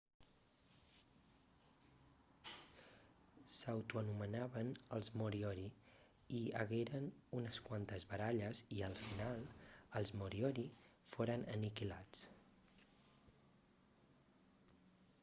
s'autoanomenaven els moriori hi hagueren unes quantes baralles i al final els moriori foren aniquilats